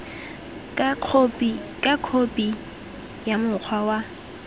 ka khophi ya mokgwa wa